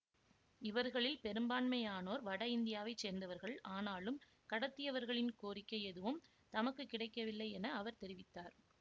இவர்களில் பெரும்பான்மையானோர் வட இந்தியாவை சேர்ந்தவர்கள் ஆனாலும் கடத்தியவர்களின் கோரிக்கை எதுவும் தமக்கு கிடைக்கவில்லை என அவர் தெரிவித்தார்